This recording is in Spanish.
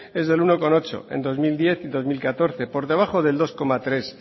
es del uno coma ocho en dos mil diez y dos mil catorce por debajo del dos coma tres